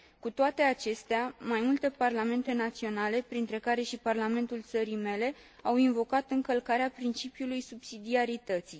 Cu toate acestea, mai multe parlamente naționale, printre care și parlamentul țării mele, au invocat încălcarea principiului subsidiarității.